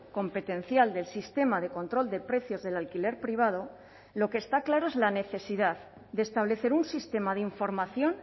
competencial del sistema de control de precios del alquiler privado lo que está claro es la necesidad de establecer un sistema de información